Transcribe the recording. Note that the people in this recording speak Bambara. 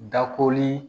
Dakoli